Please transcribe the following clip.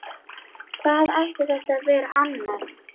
Hvað ætti þetta að vera annað?